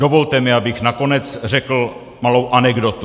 Dovolte mi, abych nakonec řekl malou anekdotu.